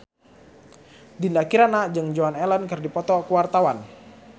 Dinda Kirana jeung Joan Allen keur dipoto ku wartawan